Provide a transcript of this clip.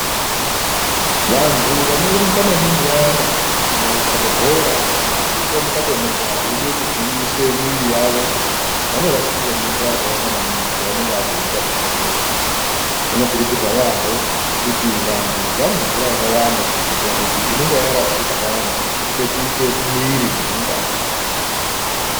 Vantu vanorumba maningi vayana kana kukabe bhora kana kutomuka tomuka veide kugwinyise mwiiri yavo vanorashikirwa ngemvura yakawanda maningi pavanonga vachiita zvona izvozvo. Zvinokurudzirwa yaambo kuti vantu vamwe mvura yakawanda kuitira kuti inenge yarashika payana, ipetuke mumwiiri nemungazi.